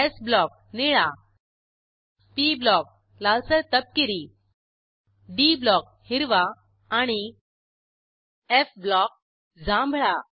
स् ब्लॉक - निळा P block - लालसर तपकिरी डी ब्लॉक - हिरवा आणि एफ ब्लॉक - जांभळा